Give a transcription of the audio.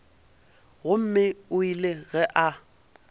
gomme o ile ge a